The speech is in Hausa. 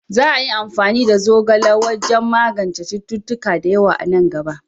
Za a yi amfani da zogale wajen magance cututtuka da yawa a nan gaba.